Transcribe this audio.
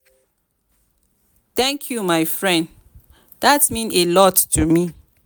thank you my friend dat mean a lot to me.